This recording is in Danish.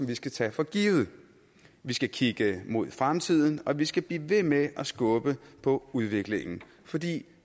vi skal tage for givet vi skal kigge mod fremtiden og vi skal blive ved med at skubbe på udviklingen fordi vi